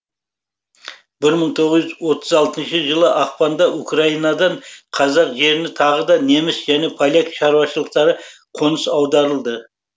бір мың тоғыз жүз отыз алтыншы жылы ақпанда украинадан қазақ жеріне тағы да неміс және поляк шаруашылықтары қоныс аударылды